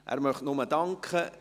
– Er möchte nur danken.